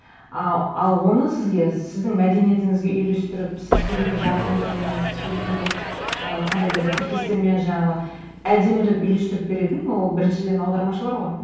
ы ал оны сізге сіздің мәдениетіңізге үйлестіріп сіз сөйлейтін жаргондармен сіз сөйлейтін бір ы қандай да бір тіркестермен жаңағы әдемілеп үйлестіріп беретін ол біріншіден аудармашылар ғой